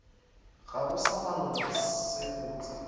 gago sa maloba se botse